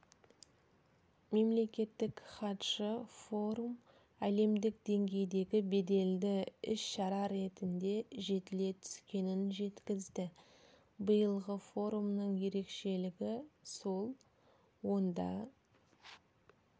мемлекеттік хатшы форум әлемдік деңгейдегі беделді іс-шара ретінде жетіле түскенін жеткізді биылғы форумның ерекшелігі сол онда